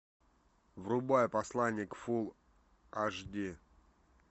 врубай посланник фул аш ди